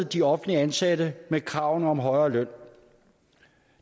de offentligt ansatte pressede med krav om højere løn